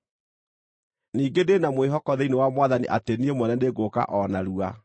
Ningĩ ndĩ na mwĩhoko thĩinĩ wa Mwathani atĩ niĩ mwene nĩngũũka o narua.